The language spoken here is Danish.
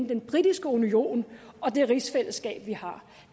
den britiske union og det rigsfællesskab vi har